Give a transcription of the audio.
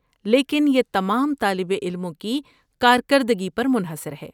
لیکن یہ تمام طالب علموں کی کارکردگی پر منحصر ہے۔